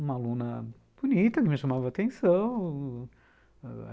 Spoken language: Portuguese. Uma aluna bonita, que me chamava a atenção.